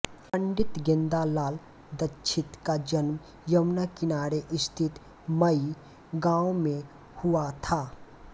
पण्डित गेंदालाल दीक्षित का जन्म यमुना किनारे स्थित मई गाँव में हुआ था